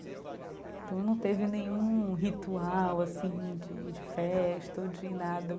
Então, não teve nenhum ritual assim de de festa ou de nada.